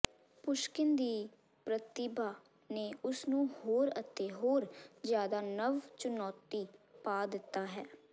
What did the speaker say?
ਪੁਸ਼ਕਿਨ ਦੀ ਪ੍ਰਤਿਭਾ ਨੇ ਉਸ ਨੂੰ ਹੋਰ ਅਤੇ ਹੋਰ ਜਿਆਦਾ ਨਵ ਚੁਣੌਤੀ ਪਾ ਦਿੱਤਾ ਹੈ